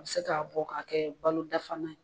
A bi se k'a bɔ ka kɛ balo dafa na ye.